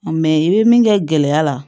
Mɛ i bɛ min kɛ gɛlɛya la